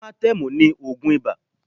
Amatẹ́mù ni ògùn ibà